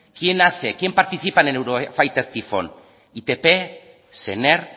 quién hace quién participa en el eurofighter tifón itp sener